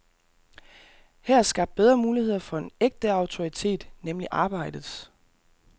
Her er skabt bedre muligheder for en ægte autoritet, nemlig arbejdets.